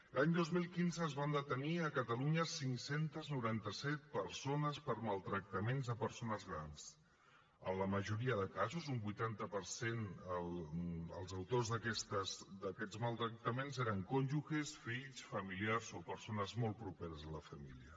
l’any dos mil quinze es van detenir a catalunya cinc cents i noranta set persones per maltractaments a persones grans en la majoria de casos un vuitanta per cent els autors d’aquests maltractaments eren cònjuges fills familiars o persones molt properes a la família